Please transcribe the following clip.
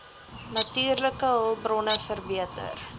natuurlike hulpbronne verbeter